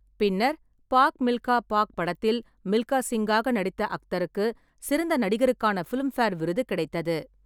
பின்னர் ‘பாக் மில்கா பாக்’ படத்தில் மில்கா சிங்காக நடித்த அக்தருக்கு சிறந்த நடிகருக்கான ஃபிலிம்பேர் விருது கிடைத்தது.